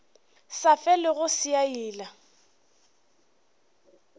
sa felego se a ila